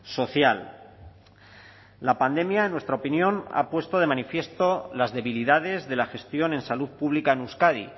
social la pandemia en nuestra opinión ha puesto de manifiesto las debilidades de la gestión en salud pública en euskadi